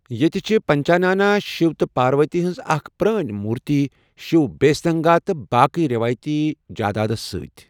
یتہِ چھِ پنچانانا شیو تہٕ پاروتی ہنٛز اکھ پرٛٲنۍ مورتی، شیو بیسنگا تہٕ باقی رٮ۪وٲیتی جادادَس سۭتۍ۔